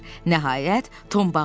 Nəhayət, Tom bağırdı.